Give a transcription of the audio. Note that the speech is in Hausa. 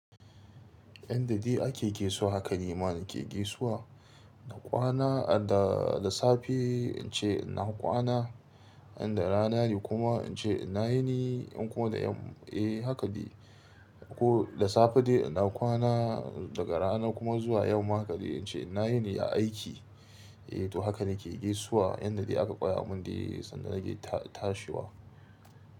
Yanda dai ake gesuwa haka nima na ke gesuwa. Na kwana da, da safe in ce ina kwana, inda rana ne kuma in ce na yini in kuma da yam, eh haka dai. Ko da safe dai in na kwana daga rana kuma zuwa yamma haka dai in ce ina yini ya aiki. Eh to haka nake gesuwa yanda dai aka koya mun dai sanda nake tashiwa.